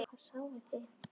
Hvað sáuði?